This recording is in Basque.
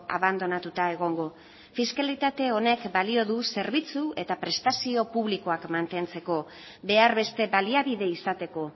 abandonatuta egongo fiskalitate honek balio du zerbitzu eta prestazio publikoak mantentzeko behar beste baliabide izateko